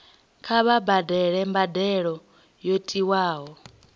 kha vha badele mbadelo yo tiwaho